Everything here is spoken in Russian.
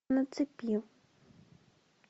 на цепи